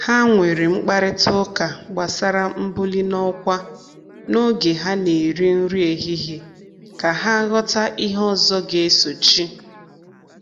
Ha nwere mkparịta ụka gbasara mbuli n'ọkwa n’oge ha na-eri nri ehihie ka ha ghọta ihe ọzọ ga-esochi.